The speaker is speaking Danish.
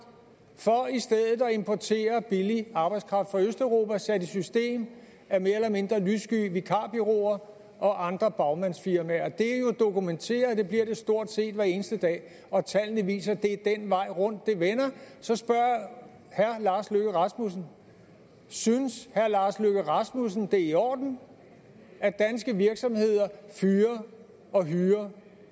for i stedet at importere billig arbejdskraft fra østeuropa sat i system af mere eller mindre lyssky vikarbureauer og andre bagmandsfirmaer det er jo dokumenteret og det bliver det stort set hver eneste dag tallene viser at det er den vej rundt det vender så spørger jeg herre lars løkke rasmussen synes herre lars løkke rasmussen at det er i orden at danske virksomheder fyrer og hyrer